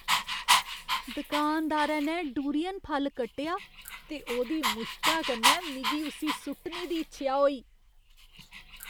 दुकानदारै ने डूरियन फल कट्टेआ ते ओह्दी मुश्का कन्नै मिगी उस्सी सु'ट्टने दी इच्छेआ होई।